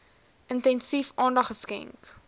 intensief aandag geskenk